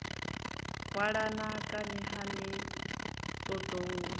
hwalana kani ha ni ṱoḓou